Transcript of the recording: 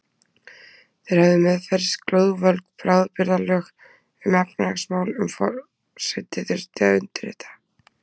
Þeir höfðu meðferðis glóðvolg bráðabirgðalög um efnahagsmál sem forseti þurfti að undirrita.